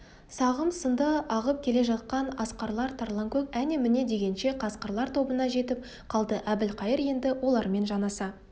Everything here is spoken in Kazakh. сағым-сынды ағып келе жатқан арқарлар тарланкөк әне-міне дегенше қасқырлар тобына жетіп қалды әбілқайыр енді олармен жанаса